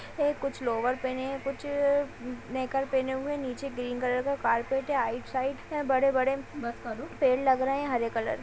कुछ लोअर पैने हैं। कुछ नेकर पेने हुए। नीचे ग्रीन कलर का कार्पेट है। साइड है। बड़े-बड़े पेड़ लग रहे हरे कलर --